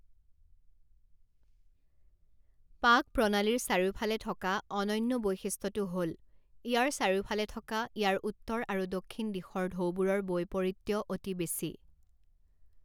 পাক প্ৰণালীৰ চাৰিওফালে থকা অনন্য বৈশিষ্ট্যটো হ'ল, ইয়াৰ চাৰিওফালে থকা ইয়াৰ উত্তৰ আৰু দক্ষিণ দিশৰ ঢৌবোৰৰ বৈপৰীত্য অতি বেছি।